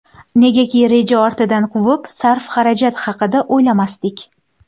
Negaki, reja ortidan quvib, sarf-xarajat haqida o‘ylamasdik.